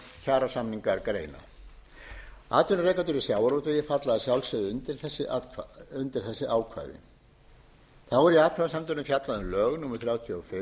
kjarasamningar greina atvinnurekendur í sjávarútvegi falla að sjálfsögðu undir þessi ákvæði þá er í athugasemdunum fjallað um lög númer þrjátíu og fimm tvö þúsund og